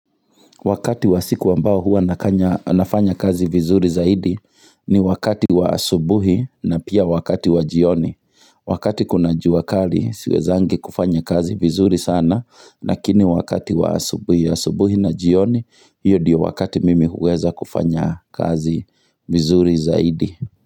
Wakati wa siku wa mbao hua nakanya nafanya kazi vizuri zaidi ni wakati wa asubuhi na pia wakati wa jioni. Wakati kuna jua kali siweziangi kufanya kazi vizuri sana, lakini wakati wa asubuhi asubuhi na jioni, hiyo ndiyo wakati mimi huweza kufanya kazi vizuri zaidi.